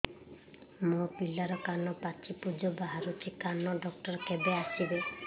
ମୋ ପିଲାର କାନ ପାଚି ପୂଜ ବାହାରୁଚି କାନ ଡକ୍ଟର କେବେ ଆସିବେ